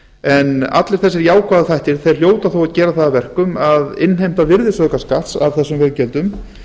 en allir þessir jákvæðu þættir hljóta þó að gera það að verkum að innheimta virðisaukaskatts af þessum veggjöldum